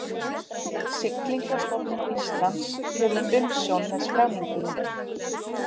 Siglingastofnun Íslands hefur umsjón með skráningunni.